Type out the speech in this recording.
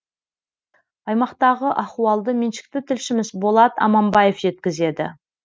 аймақтағы ахуалды меншікті тілшіміз болат аманбаев жеткізеді